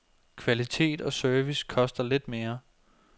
Kvalitet og service koster lidt mere.